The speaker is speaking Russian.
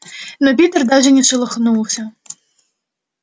но питер даже не шелохнулся